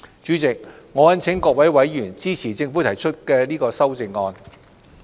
主席，我懇請各位委員支持政府提出的修正案。